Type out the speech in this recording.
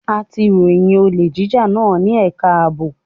A ti ròyìn olè jíjà náà ní ẹ̀ka ààbò.